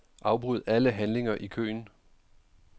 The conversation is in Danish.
Afbryd alle handlinger i køen.